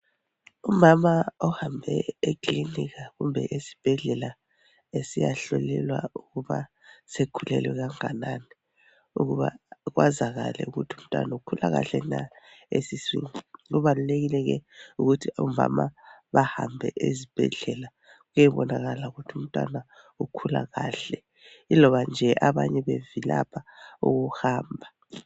ekilinika kumbe esibhedlela esiyahlolelwa ukuba usekhulelwe kanganani ukuba kwazakale ukuba umntwana ukhula kahle na esiswini kubalulekile ke ukuthi omama bahambe ezibhedlela beyebonakala ukuthi umntwana ukhula kahle iloba nje abanye bevilapha ukuhamba